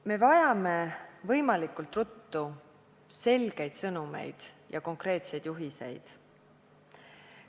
Me vajame võimalikult ruttu selgeid sõnumeid ja konkreetseid juhiseid.